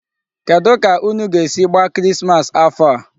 Kedụ ka unu ga-esi gbaa Christmas afọ a?